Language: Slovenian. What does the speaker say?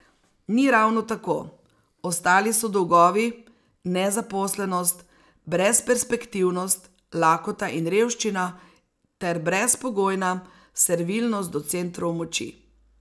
Ni ravno tako, ostali so dolgovi, nezaposlenost, brezperspektivnost, lakota in revščina ter brezpogojna servilnost do centrov moči.